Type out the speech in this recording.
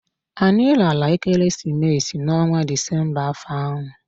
Anyị lara ekereesimesi n'ọnwa disemba afọ ahụ